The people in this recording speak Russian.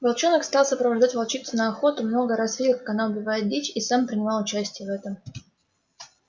волчонок стал сопровождать волчицу на охоту много раз видел как она убивает дичь и сам принимал участие в этом